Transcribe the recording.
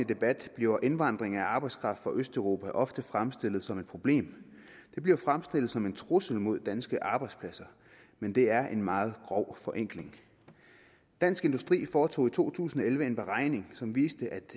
debat bliver indvandring af arbejdskraft fra østeuropa ofte fremstillet som et problem det bliver fremstillet som en trussel mod danske arbejdspladser men det er en meget grov forenkling dansk industri foretog i to tusind og elleve en beregning som viste at